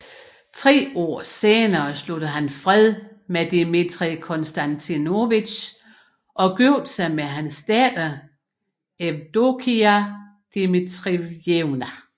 Tre år senere sluttede han fred med Dmitrij Konstantinovitj og giftede sig med hans datter Evdokija Dmitrijevna